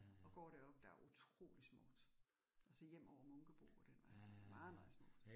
Og går deroppe, der utrolig smukt. Og så hjem over Munkebo og den vej. Meget meget smukt